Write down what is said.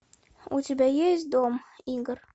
у тебя есть дом игр